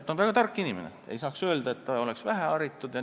Ta on väga tark inimene, ei saa öelda, et ta oleks väheharitud.